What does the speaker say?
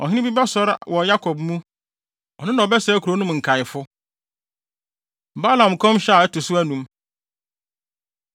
Ɔhene bi bɛsɔre wɔ Yakob mu ɔno na ɔbɛsɛe kurow no mu nkaefo.” Balaam Nkɔmhyɛ A Ɛto So Anum